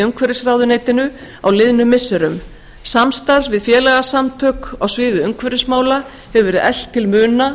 umhverfisráðuneytinu á liðnum misserum samstarf við félagasamtök á sviði umhverfismála hefur verið eflt til muna